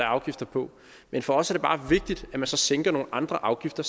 afgifter på men for os er det bare vigtigt at man så samtidig sænker nogle andre afgifter